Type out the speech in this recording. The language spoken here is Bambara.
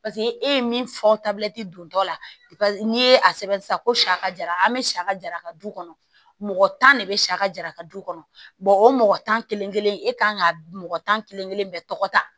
e ye min fɔ tabilati don tɔ la n'i ye a sɛbɛn sisan ko sa ka jara an bɛ sa ka jara ka du kɔnɔ mɔgɔ tan de bɛ sa ka jara ka du kɔnɔ o mɔgɔ tan kelen kelen e kan ka mɔgɔ tan kelen kelen bɛɛ tɔgɔ ta